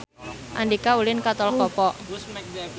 Andika ulin ka Tol Kopo